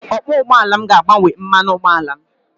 Okwọọ ụgbọala m ga-agbanwe mmanụ ụgbọala m.